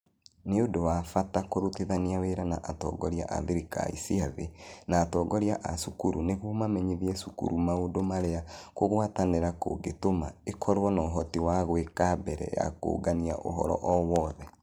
Nĩ ũndũ wa bata kũrutithania wĩra na atongoria a thirikari cia thĩ na atongoria a cukuru nĩguo mamenyithie cukuru maũndũ marĩa kũgwatanĩra kũngĩtũma ĩkorũo na ũhoti wa gwĩka mbere ya kũũngania ũhoro o wothe.